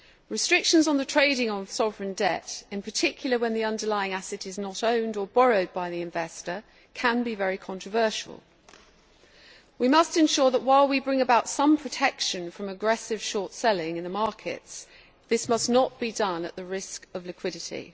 Restrictions on the trading of sovereign debt, in particular when the underlying asset is not owned or borrowed by the investor, can be very controversial. We must ensure that while we bring about some protection from aggressive short selling in the markets, this must not be done at the risk of liquidity.